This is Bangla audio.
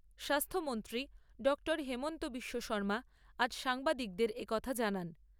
স্বাস্থ্যমন্ত্রী ডঃ হিমন্ত বিশ্ব শৰ্মা আজ সাংবাদিকদের এ কথা জানান।